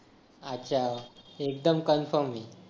अच्छा एकदम कन्फर्म